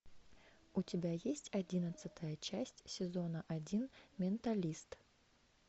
у тебя есть одиннадцатая часть сезона один менталист